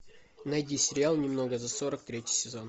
найди сериал немного за сорок третий сезон